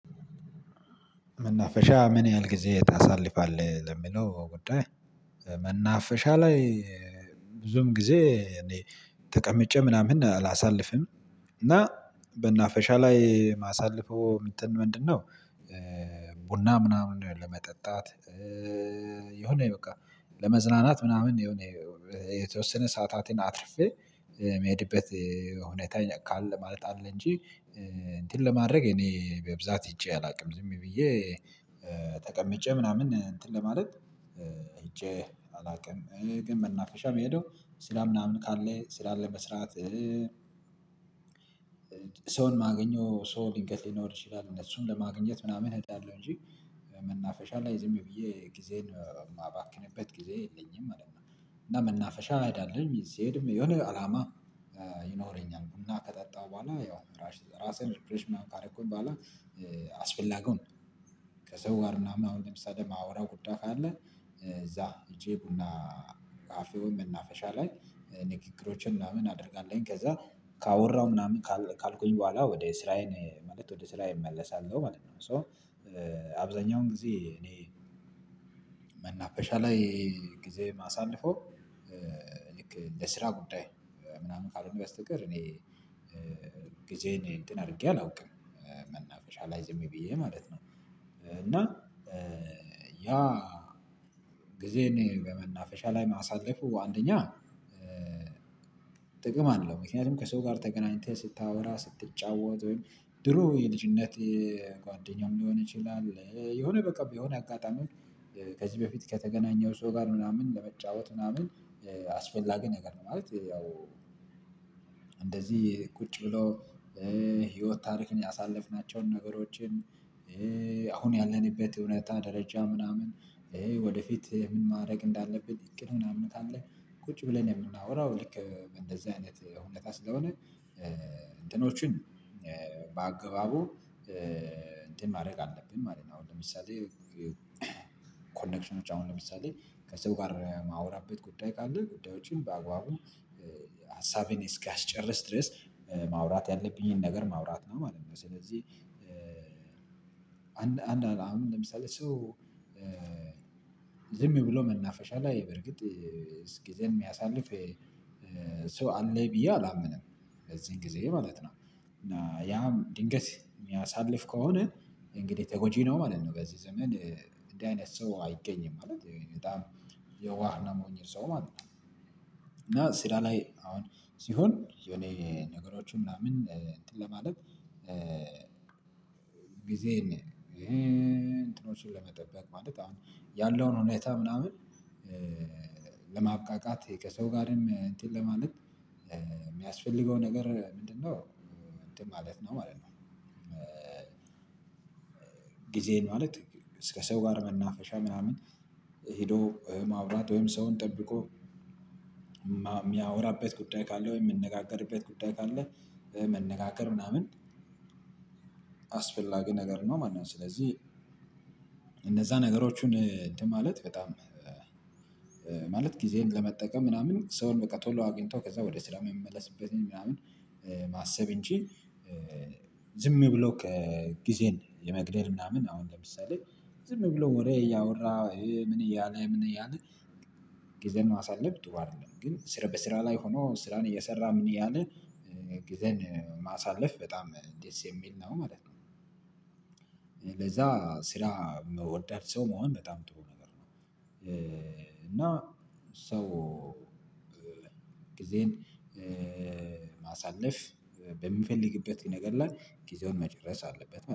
መናፈሻ ምን ያህል ጊዜ ታሳልፋለህ ለሚለው ጉዳይ? መናፈሻ ላይ ብዙም ጊዜ እኔ ተቀምጬ ምናምን አላሳልፍም እና መናፈሻ ላይ ማሳለፈው ምንድነው? ቡና ምናምን ነው ለመጠጣት። የሆነ በቃ ለመዝናናት ምናምን የሆነ የተወሰነ ሰዓታትን አትርፌ ምሄድበት ሁኔታ ካለ ማለት አለ። እንጂ እንትን ለማድረግ እኔ በብዛት ሄጄ አላውቅም ዝም ብዬ ተቀምጬ ምናምን እንትን ለማለት ሂጀ አላውቅም። ግን መናፈሻ የሚሄደው ስራ ምናምን ካለ ስራ ለመስራት ሰውን ማገኘው ሰው ድንገት ሊኖር ይችላል እነሱን ለማግኘት ምናምን እሄዳለሁ እንጂ መናፈሻ ላይ ዝም ብዬ ጊዜን የማባክንበት ጊዜ የለኝም ማለት ነው። እና መናፈሻ እሄዳለው ሲሄድም የሆነ አላማ ይኖረኛል ቡና ከጠጣሁ በኋላ ያው ራሴን ሪፕሬሽ ምናምን ካረኩኝ በኋላ። አስፈላጊውን ከሰው ጋር ምናምን አሁን ለምሳሌ ማውራው ጉዳይ ካለ። እዛ ሄጀ ቡና ካፌ ወይ መናፈሻ ላይ ንግግሮችን ምናምን አደርጋለሁኝ ከዛ ካወራው ምናምን ካልኩኝ በኋላ ወደ ስራዬን ማለት ወደ ስራዬ እመለሳለሁ ማለት ነው። ሶ አብዛኛውን ጊዜ እኔ መናፈሻ ላይ ጊዜ ማሳለፈው ልክ ለስራ ጉዳይ ምናምን ካልሆነ በስተቀር እኔ ጊዜየን እንትን አድርጌ አላውቅም። መናፈሻ ላይ ዝም ብዬ ማለት ነው እና ያ ጊዜን በመናፈሻ ላይ ማሳለፉ አንደኛ ጥቅም አለው። ምክንያቱም ከሰው ጋር ተገናኝተህ ስታወራ ስትጫወት ወይም ድሮ የልጅነት ጓደኛም ሊሆን ይችላል የሆነ በቃ የሆነ አጋጣሚዎች ከዚህ በፊት ከተገናኘው ሰው ጋር ምናምን ለመጫወት ምናምን አስፈላጊ ነገር ነው። ማለት ያው እንደዚህ ቁጭ ብሎ ህይወት ታሪክን ያሳለፍናቸውን ነገሮችን አሁን ያለንበት ሁኔታ ደረጃ ምናምን ወደፊት ምን ማድረግ እንዳለብን እቅድ ምናምን ካለ ቁጭ ብለን የምናወራው ልክ በንደዚህ አይነት ሁኔታ ስለሆነ እንትኖችን በአግባቡ እንትን ማድረግ አለብን ማለት ነው። አሁን ለምሳሌ ኮኔክሽኖች አሁን ለምሳሌ ከሰው ጋር ማውራት በጉዳይ ካለ ጉዳዮችን በአግባቡ ሀሳቤን እስካስጨርስ ድረስ ማውራት ያለብኝን ነገር ማውራት ነው ማለት ነው። ስለዚህ አንድ አሁን ለምሳሌ ሰው ዝም ብሎ መናፈሻ ላይ በርግጥ ጊዜን የሚያሳልፍ ሰው አለይ ብዬ አላምንም። በዚህን ጊዜ ማለት ነው። እና ያም ድንገት የሚያሳልፍ ከሆነ እንግዲህ ተጎጂ ነው ማለት ነው። በዚህ ዘመን እንደዚህ አይነት ሰው አይገኝም ማለት በጣም የዋህ እና ሞኝ ሰው ማለት ነው። እና ስራ ላይ አሁን ሲሆን የኔ ነገሮች ምናምን እንትን ለማለት ጊዜን እንትኖችን ለመጠበቅ ማለት አሁን ያለውን ሁኔታ ምናምን ለማብቃቃት ከሰው ጋርም እንትን ለማለት የሚያስፈልገው ነገር ምንድነው? እንትን ማለት ነው ማለት ነው። ጊዜን ማለት ከ ሰው ጋር መናፈሻ ምናምን ሄዶ ማውራት ወይም ሰውን ጠብቆ የሚያወራበት ጉዳይ ካለ ወይም የሚነጋገርበት ጉዳይ ካለ መነጋገር ምናምን አስፈላጊ ነገር ነው ማለት ነው። ስለዚህ እነዛ ነገሮቹን እንትን ማለት በጣም ማለት ጊዜን ለመጠቀም ምናምን ሰውን በቃ ቶሎ አግኝቶ ከዛ ወደ ስራ የምንመለስበትን ምናምን ማሰብ እንጂ። ዝም ብሎ ጊዜን የመግደል ምናምን አሁን ለምሳሌ ዝም ብሎ ወሬ እያወራ ምን እያለ ምን እያለ ጊዜን ማሳለፍ ጥሩ አይደለም። ግን በስራ ላይ ሆኖ ስራን እየሰራ ምን እያለ ጊዜን ማሳለፍ በጣም ደስ የሚል ነው ማለት ነው። ለዛ ስራ መውደድ ሰው መሆን በጣም ጥሩ ነገር ነው። እና ሰው ጊዜን ማሳለፍ በምፈልግበት ነገር ላይ ጊዜውን መጨረስ አለበት